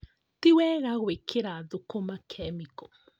Ti wega gwĩkĩra thũkũma kemiko